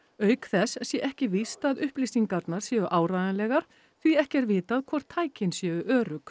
auk þess sé ekki víst að upplýsingarnar séu áreiðanlegar því ekki er vitað hvort tækin séu örugg